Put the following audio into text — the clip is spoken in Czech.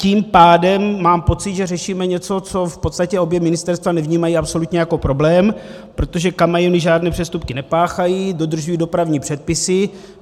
Tím pádem mám pocit, že řešíme něco, co v podstatě obě ministerstva nevnímají absolutně jako problém, protože kamiony žádné přestupky nepáchají, dodržují dopravní předpisy.